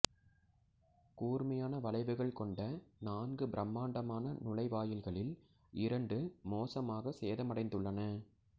கூர்மையான வளைவுகள் கொண்ட நான்கு பிரமாண்டமான நுழைவாயில்களில் இரண்டு மோசமாக சேதமடைந்துள்ளன